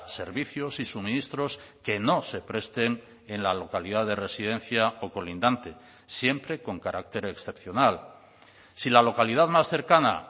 servicios y suministros que no se presten en la localidad de residencia o colindante siempre con carácter excepcional si la localidad más cercana